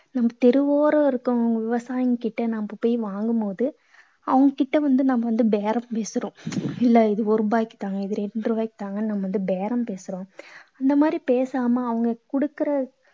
நம்ம தெருவோரம் இருக்கவங்க விவசாயிங்க கிட்ட நம்ம போயி வாங்கும் போது, அவங்க கிட்ட வந்து நம்ம வந்து பேரம் பேசுறோம். இல்ல, இது ஒரு ரூபாய்க்கு தாங்க. ரெண்டு ரூபாய்க்கு தாங்கன்னு நம்ம வந்து பேரம் பேசுறோம். இந்த மாதிரி பேசாம அவங்க கொடுக்கற